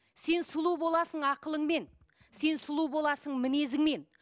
сен сұлу боласың ақылыңмен сен сұлу боласың мінезіңмен